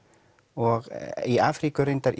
og í Afríku er reyndar